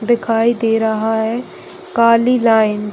दिखाई दे रहा है काली लाइन --